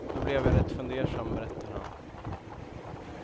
Då blev jag rätt fundersam, berättar han.